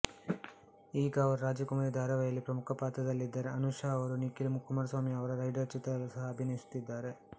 ಈಗ ಅವರು ರಾಜಕುಮಾರಿ ಧಾರಾವಾಹಿಯಲ್ಲಿ ಪ್ರಮುಖ ಪಾತ್ರದಲ್ಲಿದ್ದಾರೆ ಅನುಷಾ ಅವರು ನಿಖಿಲ್ ಕುಮಾರಸ್ವಾಮಿ ಅವರ ರೈಡರ್ ಚಿತ್ರದಲ್ಲೂ ಸಹ ಅಭಿನಯಿಸುತ್ತಿದ್ದಾರೆ